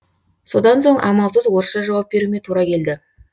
содан соң амалсыз орысша жауап беруіме тура келді